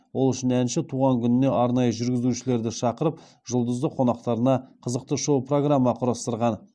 ол үшін әнші туған күніне арнайы жүргізушілерді шақырып жұлдызды қонақтарына қызықты шоу программа құрастырған